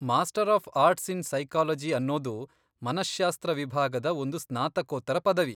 Master of arts in psychology ಅನ್ನೋದು ಮನಶ್ಶಾಸ್ತ್ರ ವಿಭಾಗದ ಒಂದು ಸ್ನಾತಕೋತ್ತರ ಪದವಿ.